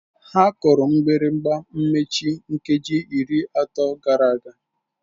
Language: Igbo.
Ha kụrụ mgbịrịgba mmechi nkeji iri atọ gara aga.